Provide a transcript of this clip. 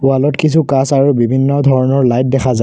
wall ত কিছু কাঁচ আৰু বিভিন্ন ধৰণৰ লাইট দেখা যা --